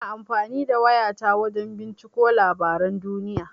Ina amfani da waya ta wajan binciko labaran duniya.